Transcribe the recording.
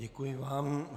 Děkuji vám.